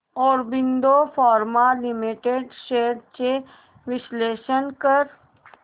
Aurobindo pharma limited shares चे विश्लेषण कर